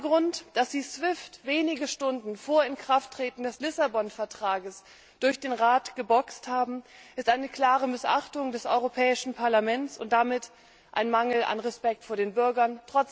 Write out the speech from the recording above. Der zweite Grund Dass Sie SWIFT wenige Stunden vor Inkrafttreten des Lissabon Vertrags durch den Rat geboxt haben, ist eine klare Missachtung des Europäischen Parlaments und damit ein Mangel an Respekt vor den Bürgern.